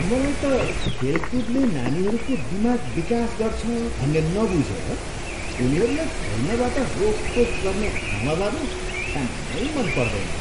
मलाई त खेलकुदले नानीहरूको दिमाग विकास गर्छ भन्ने नबुझेर उनीहरूलाई खेल्नबाट रोकटोक गर्ने आमाबाबु ठ्याम्मै मन पर्दैनन्।